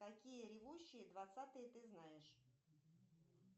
какие ревущие двадцатые ты знаешь